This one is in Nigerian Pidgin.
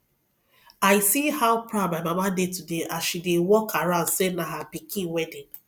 i see how proud my mama dey today as she dey walk around say na her pikin wedding